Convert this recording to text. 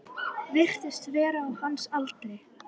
Jú, er það ekki?